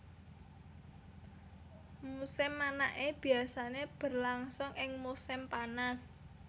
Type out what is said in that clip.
Musim manaké biasané berlangsung ing musim panas